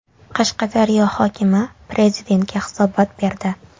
Qashqadaryo hokimi Prezidentga hisobot berdi.